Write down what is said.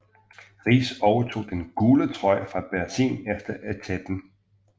Riis overtog den gule trøje fra Berzin efter etapen